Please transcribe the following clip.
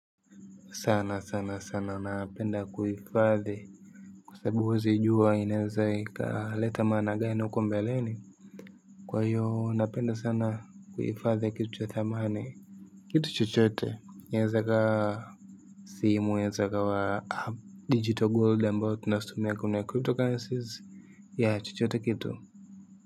Sana sana sana napenda kuifadhi kwa sababu huwezijua inaeza ikaleta maana gani huko mbeleni. Kwa hiyo napenda sana kuifadhi kitu cha thamani. Kitu chochote. Inaeza ikawa simu naeza ikawa digital gold ambao tunasomea kwenye cryptocurrencies. Ya chochote kitu.